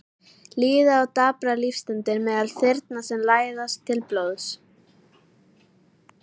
Líða og daprar lífsstundir meðal þyrna sem læsast til blóðs.